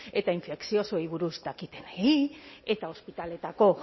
eta infekziosoei buruz dakitenei eta ospitaleetako